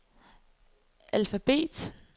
alfabet